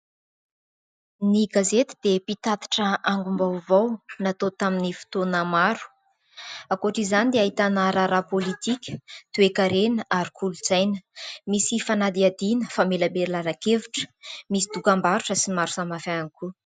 Ny gazety dia mpitatitra angom-baovao natao tamin'ny fotoana maro. Ankoatra izany dia ahitana raharaha politika, toekarena ary kolontsaina. Misy fanadihadiana, famelabelaran-kevitra, misy dokam-barotra sy ny maro samihafa ihany koa.